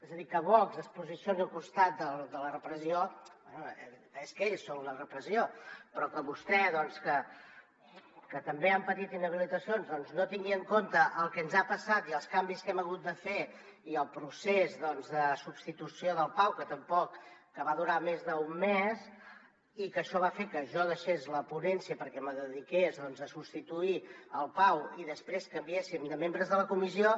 és a dir que vox es posicioni al costat de la repressió bé és que ells són la repressió però que vostè doncs que també han patit inhabilitacions no tingui en compte el que ens ha passat i els canvis que hem hagut de fer i el procés de substitució del pau que va durar més d’un mes i que això va fer que jo deixés la ponència perquè me dediqués doncs a substituir el pau i després canviéssim de membres de la comissió